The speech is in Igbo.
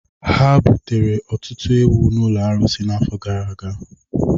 Ha butere ọtụtụ ewu n’ụlọ arụsị n’afọ gara aga.